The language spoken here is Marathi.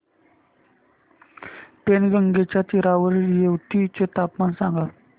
पैनगंगेच्या तीरावरील येवती चे तापमान सांगा